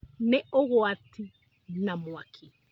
Nĩ ũgwati na mwaki